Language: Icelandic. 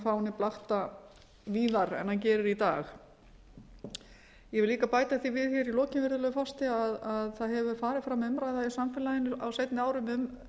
fáninn blakta víðar en hann gerir í dag ég vil líka bæta því við í lokin virðulegi forseti að það hefur farið fram umræða í samfélaginu á seinni árum